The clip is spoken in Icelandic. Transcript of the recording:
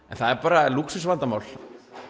en það er bara lúxusvandamál